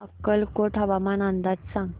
अक्कलकोट हवामान अंदाज सांग